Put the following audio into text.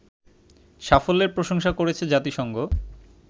সাফল্যের প্রশংসা করেছে জাতিসংঘ